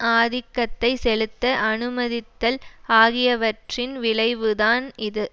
ஆதிக்கத்தை செலுத்த அனுமதித்தல் ஆகியவற்றின் விளைவுதான் இது